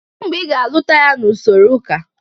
Kedu mgbe ị ga-alụta ya n'usoro ụka?